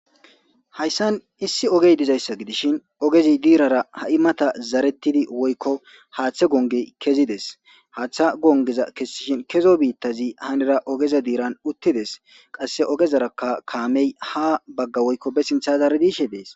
Hayssan issi ogey dizayssa gidishin ogezi diirara ha'i mata zarettidi woykko haaththe gonge kezides haaththa gongeza kessishin kezo biittazi hanera ogeza diiran uttides qasse ogezarakka kaamey ha bagga woykko be sintha zaari diishe dees.